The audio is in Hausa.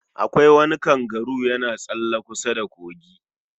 Akwai wani kangaru yana tsalle kusa da kogi